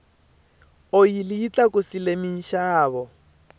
oyili yi tlakusile minxavo